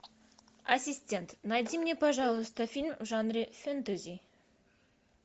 ассистент найди мне пожалуйста фильм в жанре фэнтези